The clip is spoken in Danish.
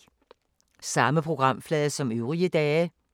Samme programflade som øvrige dage